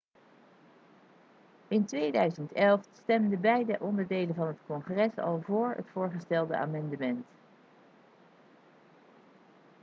in 2011 stemden beide onderdelen van het congres al voor het voorgestelde amendement